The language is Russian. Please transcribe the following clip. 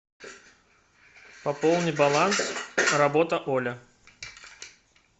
пополни баланс работа оля